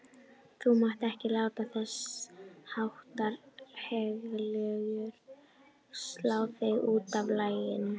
Þú mátt ekki láta þessháttar hégiljur slá þig útaf laginu.